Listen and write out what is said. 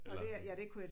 Eller sådan